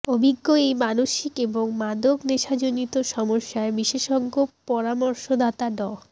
অভিজ্ঞ এই মানসিক এবং মাদক নেশাজনিত সমস্যার বিশেষজ্ঞ পরামর্শদাতা ড